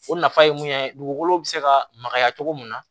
O nafa ye mun ye dugukolo bɛ se ka makaya cogo min na